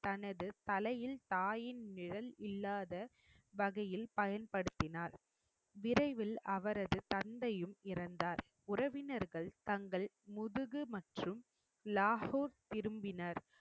தனது தலையில் தாயின் நிழல் இல்லாத வகையில் பயன்படுத்தினார் விரைவில் அவரது தந்தையும் இறந்தார் உறவினர்கள் தங்கள் முதுகு மற்றும் லாகூர் திரும்பினர்